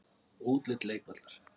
Útlit leikvallar?